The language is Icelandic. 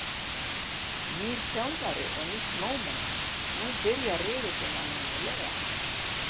Nýr þjálfari og nýtt móment, nú byrjar riðillinn almennilega.